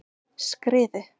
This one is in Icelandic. Skriðu